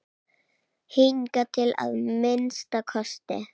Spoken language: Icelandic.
Hingað til að minnsta kosti.